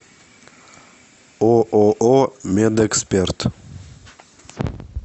ооо медэксперт